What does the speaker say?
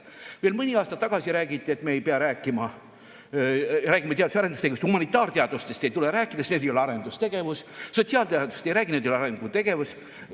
Veel mõni aasta tagasi räägiti, et me räägime teadus‑ ja arendustegevust, aga humanitaarteadustest ei tule rääkida, sest need ei ole arendustegevus, sotsiaalteadustest ei räägi, need ei ole arendustegevus.